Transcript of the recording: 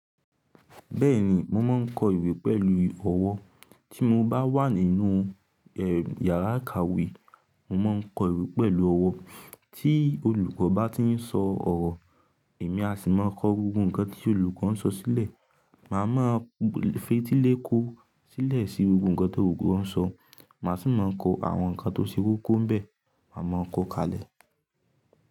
Bẹ́ẹ̀ni, mo máa ń kọ ìwé pẹ̀lú ọwọ́. Tí mo bá wà nínú e, yàrá ìkàwé, mo máa ń kọ ìwé pẹ̀lú ọwọ́. Tí olùkọ́ bá ti ń sọ ọ̀rọ̀, èmi a sì máa kọ gbogbo ǹkan tí olùkọ́ ń sọ sílẹ̀. Màá ma fetí lè kó sílẹ̀ sí gbogbo ǹkan tí olukọ ń sọ. Mà á sì máa kọ àwọn ǹkan tó ṣe kókó bẹ́ẹ̀. Mà á mọ̀ ọ́n kọ káalẹ̀.